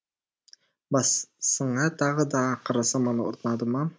басыңа тағы да ақыр заман орнады ма